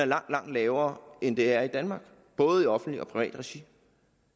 langt lavere end det er i danmark både i offentligt og privat regi